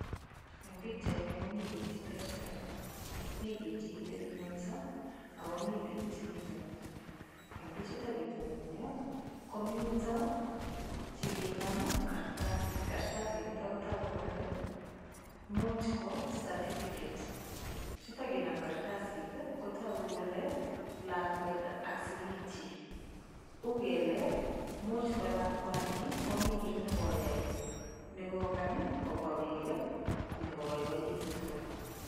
Eng pichaini koni biik che terter . Mi biik che kitebing'enyisho akomi biik che kitononyio. Eng pichutok kitononio , komito chekinam kartasit. Kartasinitok kotoku kole much ko certificate. Chutok kinam kartasit kotogu kole lakwet ak sigikchi. Ugele much ko lakwani komi kiy ne koyai nekokany kobwa biik konyokoboiboitu tugul.